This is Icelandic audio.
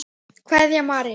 Kveðja, María.